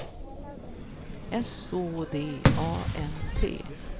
S Å D A N T